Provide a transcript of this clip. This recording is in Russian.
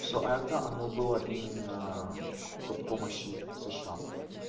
все это оно была именно под помощи сша